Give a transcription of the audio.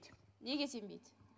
неге сенбейді